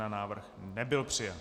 Návrh nebyl přijat.